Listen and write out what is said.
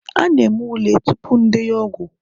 A na-eme ule tupu ndenye ọgwụ